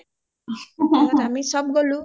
তাত আমি চ’ব গলো